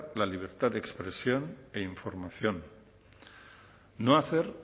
la libertad de expresión e información no hacer